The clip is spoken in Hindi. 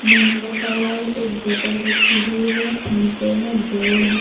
मेनू रखा हुआ है एक बोतल रखी हुई है फोन पे है बोर्ड है।